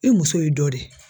I muso y'i dɔ de ye.